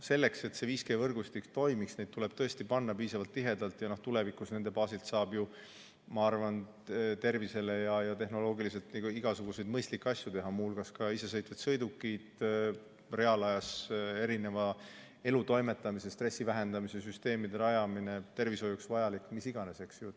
Selleks, et 5G võrgustik toimiks, tuleb neid panna piisavalt tihedalt, ja tulevikus nende baasil saab, ma arvan, tehnoloogiliselt igasuguseid mõistlikke asju teha, muu hulgas isesõitvad sõidukid, reaalajas erinevate elutoimetuste ja stressi vähendamise süsteemide rajamine, kõik tervishoiuks vajalik – mis iganes, eks ju.